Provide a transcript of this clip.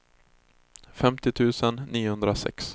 femtio tusen niohundrasex